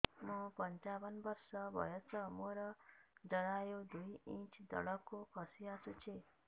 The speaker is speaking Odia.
ମୁଁ ପଞ୍ଚାବନ ବର୍ଷ ବୟସ ମୋର ଜରାୟୁ ଦୁଇ ଇଞ୍ଚ ତଳକୁ ଖସି ଆସିଛି